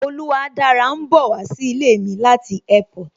Oluwadára ń bowa sí ilé mi láti Airport